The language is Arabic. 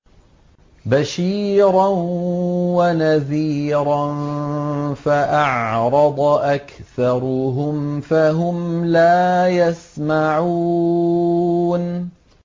بَشِيرًا وَنَذِيرًا فَأَعْرَضَ أَكْثَرُهُمْ فَهُمْ لَا يَسْمَعُونَ